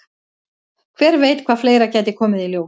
Hver veit hvað fleira gæti komið í ljós?